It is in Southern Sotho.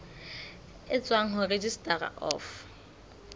e tswang ho registrar of